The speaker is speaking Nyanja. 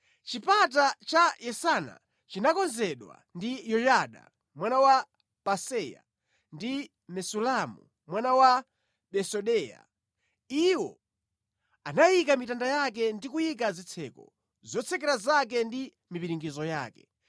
Chipata cha Yesana chinakonzedwa ndi Yoyada mwana wa Paseya ndi Mesulamu mwana wa Besodeya. Iwo anayika mitanda yake ndi kuyika zitseko, zotsekera zake ndi mipiringidzo yake.